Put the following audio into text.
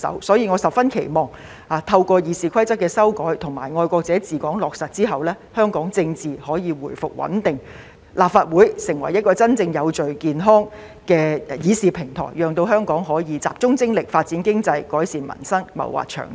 所以，我十分期望透過《議事規則》的修改及"愛國者治港"原則落實後，香港政治可以回復穩定，立法會能成為一個真正有序、健康的議事平台，讓香港可以集中精力，發展經濟，改善民生，謀劃長遠。